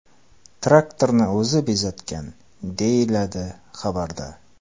Traktorni o‘zi bezatgan”, deyiladi xabarda.